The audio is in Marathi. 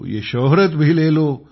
यह शौहरत भी ले लो